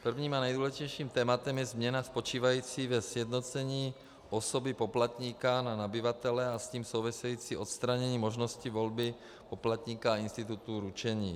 Prvním a nejdůležitějším tématem je změna spočívající ve sjednocení osoby poplatníka na nabyvatele a s tím související odstranění možnosti volby poplatníka a institutu ručení.